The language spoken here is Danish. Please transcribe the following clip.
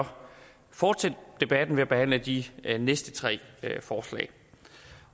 fortsætte debatten ved at behandle de næste tre forslag